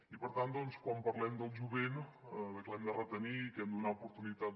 i per tant quan parlem del jovent de que l’hem de retenir i de que li hem de donar oportunitats